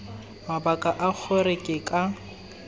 mabaka a gore ke ka